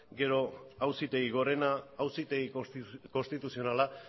gero auzitegi gorena auzitegi konstituzionala